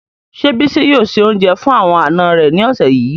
Se Bisi yoo se ounje fun awon ana re ni ose yii